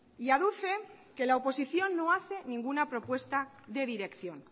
y aduce que la oposición no hace ninguna propuesta de dirección